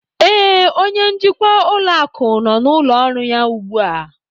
Ee, onye njikwa ụlọ akụ nọ n'ụlọ ọrụ ya ugbu a